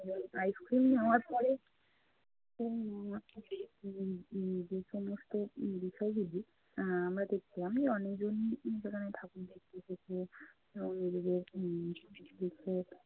Ice cream নেয়ার পরে উম উম যে সমস্ত বিষয়গুলি আহ আমরা দেখলাম অনেকজনই কিন্তু এখানে ঠাকুর দেখতে এসেছে। আহ নিজেদের উম